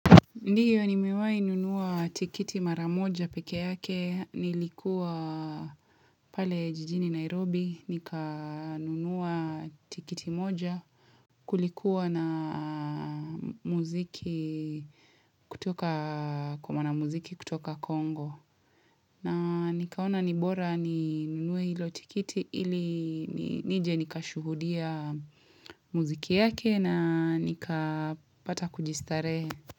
Ndiyo nimewai nunua tikiti maramoja peke yake nilikuwa pale jijini Nairobi nikanunuwa tikiti moja kulikuwa na muziki kutoka kwa mwana muziki kutoka Congo. Na nikaona nibora ni nunue hilo tikiti ili nije nikashuhudia muziki yake na nikapata kujistarehe.